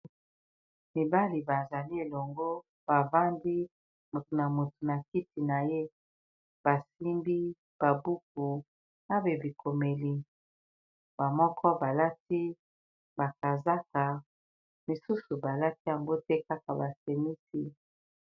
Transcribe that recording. Mibali bazali elongo bavandi motu na motu na kiti na ye basimbi babuku na babikomeli bamoko balati bakazaka mosusu balati yango te kaka basenisi.